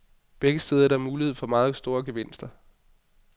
Begge steder er der mulighed for meget store gevinster.